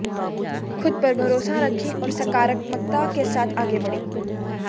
खुद पर भरोसा रखें और सकारात्मकता के साथ आगे बढ़ें